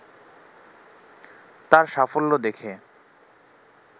তার সাফল্য দেখে